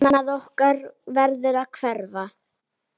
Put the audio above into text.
Annað okkar verður að hverfa.